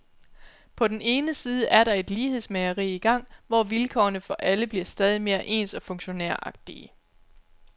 På den ene side er der et lighedsmageri i gang, hvor vilkårene for alle bliver stadig mere ens og funktionæragtige.